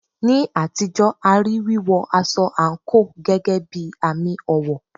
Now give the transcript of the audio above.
Ní àtijọ́, a rí wíwọ aṣọ àǹkóò gẹ́gẹ́ bí àmì ọ̀wọ̀.